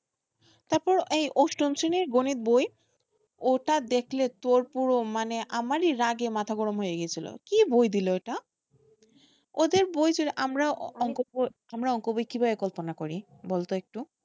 তারপর এই অষ্টম শ্রেণীর গণিত বই ওটা দেখলে তোর পুরো, মানে আমারই রাগে মাথা গরম হয়ে গেছিল, কি বই দিলো এটা? ওদের বই জুড়ে আমরা অংক বই কিভাবে কল্পনা করি বলতো একটু,